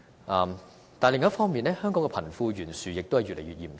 但是，另一方面，香港的貧富懸殊亦越來越嚴重。